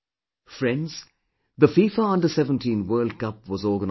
Friends, the FIFA Under17 World Cup was organized this month